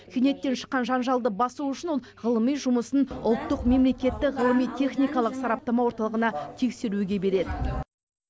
кенеттен шыққан жанжалды басу үшін ол ғылыми жұмысын ұлттық мемлекеттік ғылыми техникалық сараптама орталығына тексеруге береді